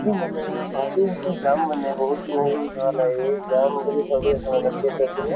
ছো মানে ভাবি আছো যাম মানে। বহুত দিন হৈ গʼল যোৱা নাই। যাম বুলি ভাবি আছো আমাৰ theatre পিনে।